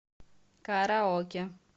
караоке